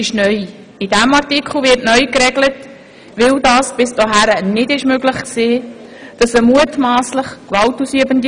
Damit wird geregelt, dass eine mutmasslich gewaltausübende Person polizeilich vorgeführt werden kann.